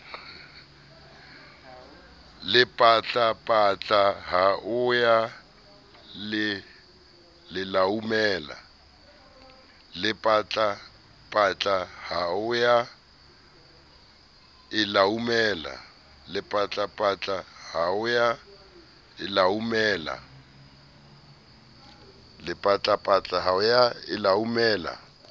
lepatlapatla ho ya e laumela